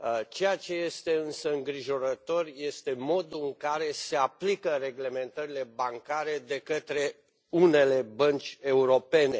Ceea ce este însă îngrijorător este modul în care se aplică reglementările bancare de către unele bănci europene.